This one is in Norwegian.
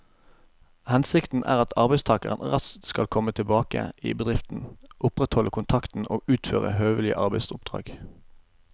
Hensikten er at arbeidstakeren raskt skal komme tilbake i bedriften, opprettholde kontakten og utføre høvelige arbeidsoppdrag.